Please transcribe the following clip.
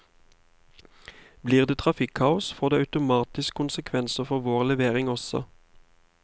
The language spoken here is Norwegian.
Blir det trafikkaos, får det automatisk konsekvenser for vår levering også.